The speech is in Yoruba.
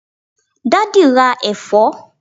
daddy ra èfó